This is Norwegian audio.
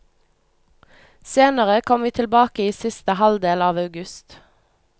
Senere kom vi tilbake i siste halvdel av august.